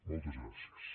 moltes gràcies